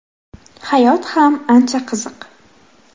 Hayot ham ancha qiziq.